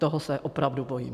Toho se opravdu bojím.